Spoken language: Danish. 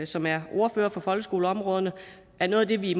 som er ordførere på folkeskoleområdet er noget af det vi